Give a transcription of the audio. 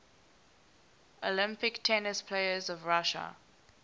olympic tennis players of russia